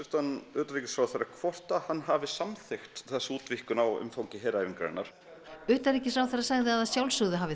utanríkisráðherra hvort hann hafi samþykkt þessa útvíkkun á umfangi heræfingarinnar utanríkisráðherra sagði að sjálfsögðu hafi